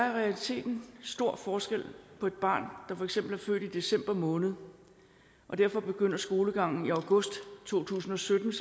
i realiteten stor forskel på et barn der for eksempel er født i december måned og derfor begynder skolegangen i august to tusind og sytten